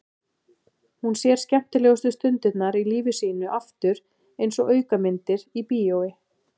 Hún sér skemmtilegustu stundirnar í lífi sínu aftur einsog aukamyndir í bíói.